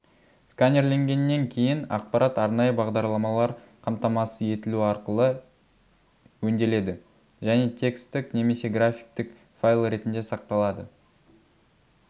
сканерленгеннен кейін ақпарат арнайы бағдарламалар қамтамасыз етілу арқылы өңделеді және текстік немесе графиктік файл ретінде сақталады